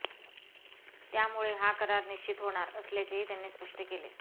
त्यामुळे हा करार निश्चित होणार असल्याचेही त्यांनी स्पष्ट केले